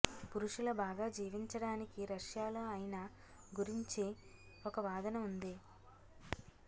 పురుషుల బాగా జీవించడానికి రష్యాలో అయిన గురించి ఒక వాదన ఉంది